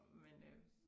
Men øh